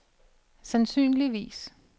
sandsynligvis